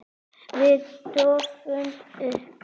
Við dofnum upp.